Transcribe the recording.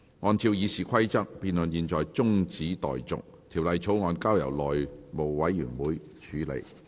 按照《議事規則》，辯論現在中止待續，條例草案交由內務委員會處理。